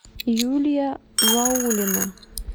юлия ваулина